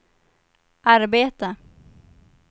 arbeta